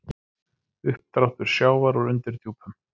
Uppdráttur sjávar úr undirdjúpum